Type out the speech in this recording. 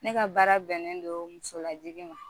Ne ka baara bɛnnen don musolajigi ma